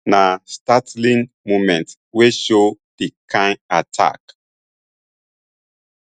na startling moment wey show di kain attack